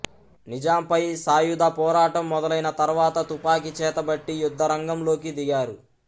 నిజాంపై సాయుధపోరాటం మొదలైన తర్వాత తుపాకి చేతబట్టి యుద్ధరంగంలోకి దిగారు